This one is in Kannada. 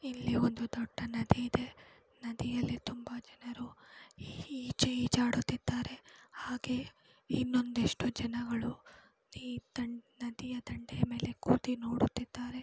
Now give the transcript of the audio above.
ಇಲ್ಲಿ ಒಂದು ದೊಡ್ಡ ನದಿ ಇದೆ. ನದಿಯಲ್ಲಿ ತುಂಬಾ ಜನರು ಈಜಾಡುತ್ತಿದ್ದಾರೆ ಹಾಗೆ ಇನ್ನೊಂದಿಷ್ಟು ಜನಗಳು ನದಿಯ ದಂಡೆಯ ಮೇಲೆ ಕೂತಿ ನೋಡುತ್ತಿದ್ದಾರೆ.